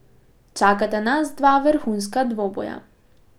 Čakata nas dva vrhunska dvoboja.